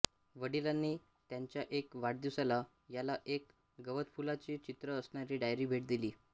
वडिलांनी त्याच्या एका वाढदिवसाला त्याला एक गवतफुलाचे चित्र असणारी डायरी भेट दिली